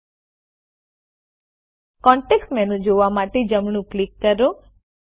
ડાબી પેનલમાંથી address book office contacts રદ કરવા માટે તેને પસંદ કરો